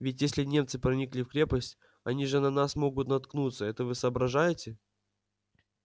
ведь если немцы проникли в крепость они же на нас могут наткнуться это вы соображаете